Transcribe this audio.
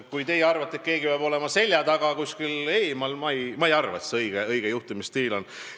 Kui teie arvate, et keegi peab olema selja taga kuskil eemal, siis mina ei arva, et see õige juhtimisstiil on.